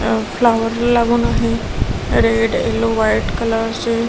flower ला लागून आहे रेड येलो वाईट कलर चे --